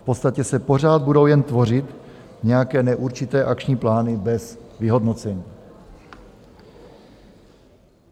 V podstatě se pořád budou jen tvořit nějaké neurčité akční plány bez vyhodnocení.